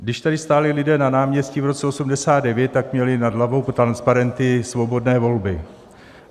Když tady stáli lidé na náměstí v roce 1989, tak měli nad hlavou transparenty Svobodné volby.